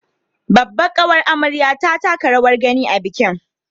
Babbar ƙawar amaryar ta taka rawar gani a bikin